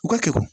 U ka kɛ